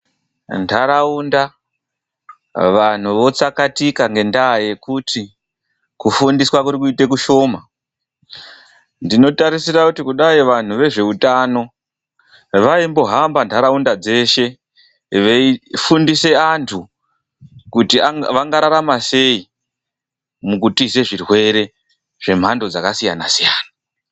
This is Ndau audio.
Muntaraunda, vantu votsakatika ngendaa yekuti kufundiswa kuri kuita kushoma. Ndinotarisira kuti kudai vantu vezveutano vaimbohamba ntaraunda dzeshe, veifundisa antu kuti vangararama sei? Mukutiza zvirwere zvemhando dzakasiyana-siyana.